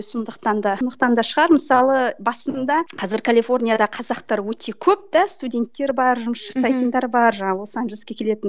сондықтан да сондықтан да шығар мысалы басында қазір калифорнияда қазақтар өте көп те студенттер бар жұмыс жасайтындар бар жаңағы лос анжелеске келетін